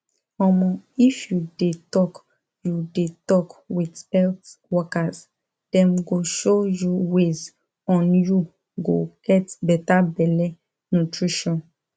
omo if you de talk you de talk with health workers dem go show you ways on you go get better belle nutrition